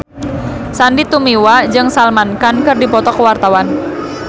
Sandy Tumiwa jeung Salman Khan keur dipoto ku wartawan